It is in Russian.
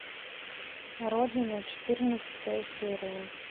родина четырнадцатая серия